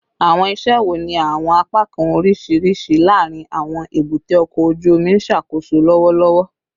Awọn iṣẹ wo ni awọn apakan oriṣiriṣi laarin awọn ebute oko oju omi n ṣakoso lọwọlọwọ?